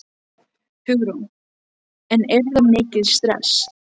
Hugrún: En er þetta mikið stress?